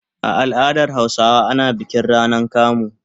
A al'adar Hausawa ana bikin rana kamu.